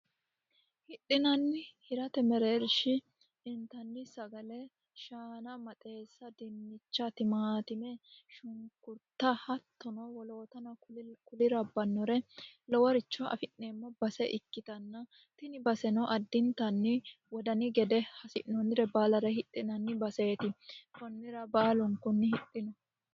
hidhinanni hirate mereershi dintanni sagale shaana maxeessa dinnicha timatime shunkurta hattono wolootano kuli rabbannore loworicho afi'neemmo base ikkitanna tini baseno addintanni wodani gede hasi'noonnire baalare hidhinanni baseeti kunnira baalun kunni hidhino